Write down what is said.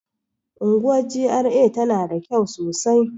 Unguwar GRA tana da kyau sosai